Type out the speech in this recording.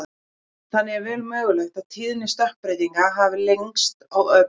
þannig er vel mögulegt að tíðni stökkbreytinga hafi breyst á löngum tíma